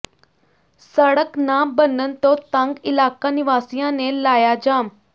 ਸੜਕ ਨਾ ਬਣਨ ਤੋਂ ਤੰਗ ਇਲਾਕਾ ਨਿਵਾਸੀਆਂ ਨੇ ਲਾਇਆ ਜਾਮ